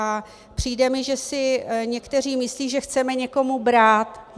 A přijde mi, že si někteří myslí, že chceme někomu brát.